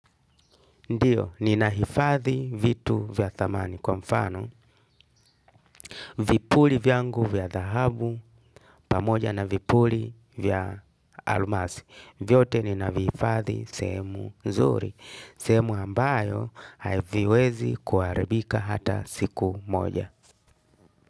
Ndiyo, ninahifadhi vitu vya thamani kwa mfano. Vipuli vyangu vya dhahabu pamoja na vipuli vya almasi. Vyote ninavihifadhi sehemu nzuri. Sehemu ambayo haviwezi kuharibika hata siku moja.